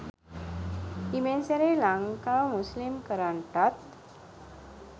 හිමෙන් සැරේ ලංකව මුස්ලිම් කරන්ටත්